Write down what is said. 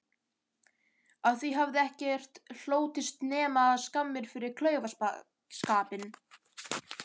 Af því hefði ekkert hlotist nema skammir fyrir klaufaskapinn.